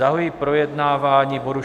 Zahajuji projednávání bodu